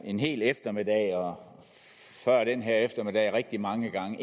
en hel eftermiddag og før den her eftermiddag rigtig mange gange at